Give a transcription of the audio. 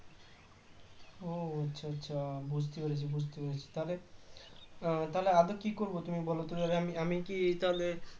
ও আচ্ছা আচ্ছা বুঝতে পেরেছি বুঝতে পেরেছি তাহলে তাহলে আমি কি করবো তুমি বলতো তাহলে আমি আমি কি তাহলে